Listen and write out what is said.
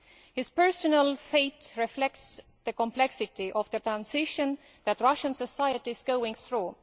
His personal fate reflects the complexity of the transition that Russian society is going through.